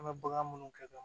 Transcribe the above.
An bɛ bagan minnu kɛ